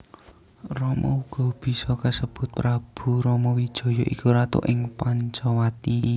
Rama uga bisa kasebut Prabu Ramawijaya iku ratu ing Pancawati